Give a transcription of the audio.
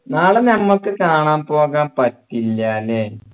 നാളെ ഞമ്മക്ക് കാണാൻ പോകാൻ പറ്റില്ല അല്ലേ